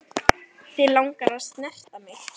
Þig langar að snerta mig.